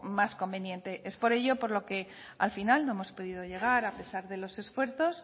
más conveniente es por ello por lo que al final no hemos podido llegar a pesar de los esfuerzos